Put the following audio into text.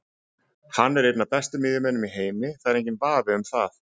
Hann er einn af bestu miðjumönnunum í heimi, það er enginn vafi um það.